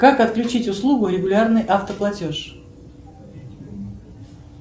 как отключить услугу регулярный автоплатеж